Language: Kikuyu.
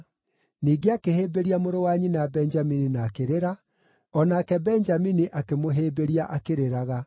Ningĩ akĩhĩmbĩria mũrũ wa nyina Benjamini na akĩrĩra, o nake Benjamini akĩmũhĩmbĩria akĩrĩraga.